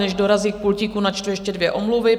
Než dorazí k pultíku, načtu ještě dvě omluvy.